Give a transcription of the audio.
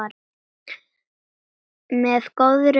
kallaði Bylgja á móti.